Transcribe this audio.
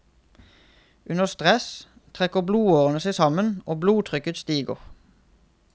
Under stress trekker blodårene seg sammen, og blodtrykket stiger.